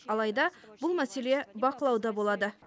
алайда бұл мәселе бақылауда болады